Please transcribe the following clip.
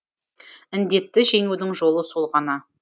індетті жеңудің жолы сол ғана